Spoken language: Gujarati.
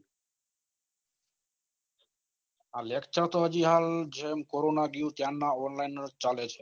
હા lecture તો આ કોરોના ગયું ત્યાર ના online ને જ ચાલુ